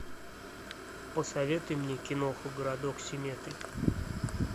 посоветуй мне кино городок семетри